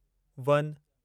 one